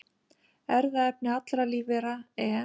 Erfðaefni allra lífvera, en